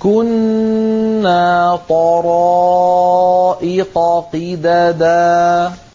كُنَّا طَرَائِقَ قِدَدًا